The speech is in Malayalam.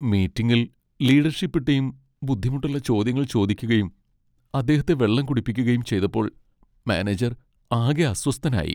മീറ്റിംഗിൽ ലീഡർഷിപ്പ് ടീം ബുദ്ധിമുട്ടുള്ള ചോദ്യങ്ങൾ ചോദിക്കുകയും അദ്ദേഹത്തെ വെള്ളം കുടിപ്പിക്കുകയും ചെയ്തപ്പോൾ മാനേജർ ആകെ അസ്വസ്ഥനായി.